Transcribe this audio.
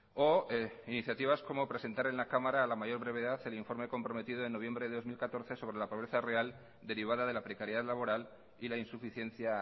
o iniciativas como presentar en la cámara a la mayor brevedad el informe comprometido en noviembre de dos mil catorce sobre la pobreza real derivada de la precariedad laboral y la insuficiencia